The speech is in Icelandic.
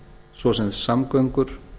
svo sem samgöngur